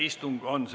Istung on lõppenud.